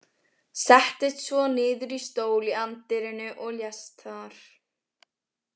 Settist svo niður í stól í anddyrinu og lést þar.